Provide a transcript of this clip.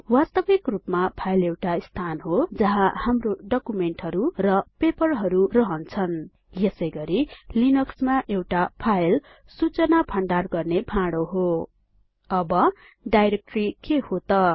वास्तविक रुपमा फाइल एउटा स्थान हो जहाँ हाम्रो डकुमेन्टहरु र पेपरहरु रहन्छन यसैगरी लिनक्समा एउटा फाइल सूचना भण्डार गर्ने भाडो हो अब डाइरेक्टरी के हो त